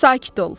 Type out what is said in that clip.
Sakit ol.